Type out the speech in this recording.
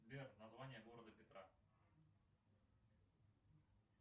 сбер название города петра